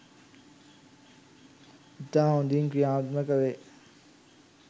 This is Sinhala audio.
ඉතා හොඳින් ක්‍රියාත්මක වේ